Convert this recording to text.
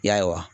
Ya